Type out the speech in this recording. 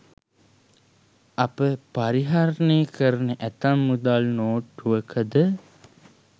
අප පරිහරණය කරන ඇතැම් මුදල් නෝට්ටුවකද